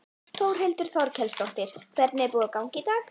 Þórhildur Þorkelsdóttir: Hvernig er búið að ganga í dag?